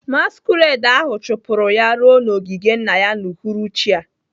Masquerade ahụ chụpụrụ ya ruo n'ogige nna ya n'uhuruchi a.